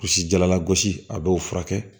Gosi jalagosi a b'o furakɛ